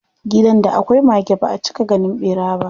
Gidan da akwai mage baʼa cika ganin ɓera ba.